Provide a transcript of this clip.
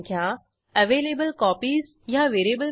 नंतर decrement available copies ही method call करू